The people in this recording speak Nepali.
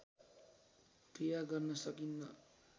क्रिया गर्न सकिन्न